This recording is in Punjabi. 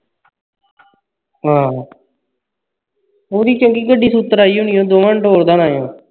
ਹਾਂ ਉਸ ਦੀ ਚੰਗੀ ਗੱਡੀ ਸੂਤਰ ਆਈ ਹੋਣੀ ਉਹ ਦੋਵਾਂ ਨੂੰ ਠੇਕਦਾ ਹੋਣਾ